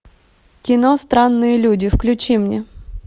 кино странные люди включи мне